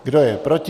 Kdo je proti?